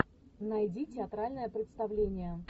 найди театральное представление